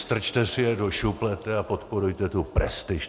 Strčte si je do šuplete a podporujte tu prestiž.